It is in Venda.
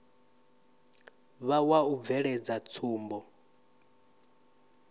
vha wa u bveledza tsumbo